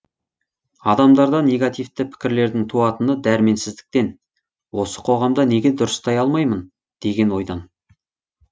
адамдарда негативті пікірлердің туатыны дәрменсіздіктен осы қоғамды неге дұрыстай алмаймын деген ойдан